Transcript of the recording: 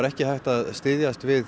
ekki hægt að styðjast við